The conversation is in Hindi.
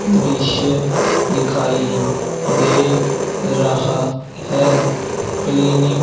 विदेशी दिखाई दे रहा है क्लिनिक --